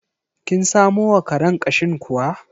Kin samo wa karen ƙashin kuwa?